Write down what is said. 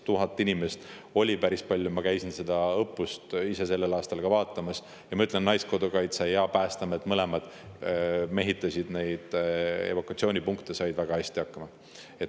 1000 inimest oli päris palju, ma käisin seda õppust ise sellel aastal vaatamas ja ma ütlen, et Naiskodukaitse ja Päästeamet mõlemad mehitasid neid evakuatsioonipunkte ja said väga hästi hakkama.